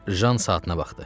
Jan saatına baxdı.